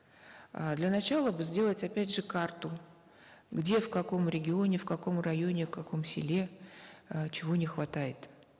э для начала бы сделать опять же карту где в каком регионе в каком районе в каком селе э чего не хватает